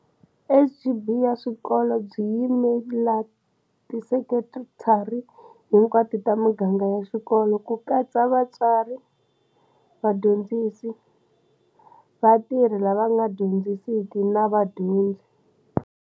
SGB ya swikolo byi yimela tisekithara hinkwato ta miganga ya xikolo, ku katsa vatswari, vadyondzi si, vatirhi lava va nga dyondzisiki na vadyondzi.